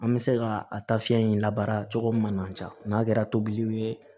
An bɛ se ka a ta fiɲɛ in labaara cogo min na n'a kɛra tobiliw ye